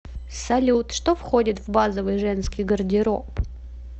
салют что входит в базовый женский гардероб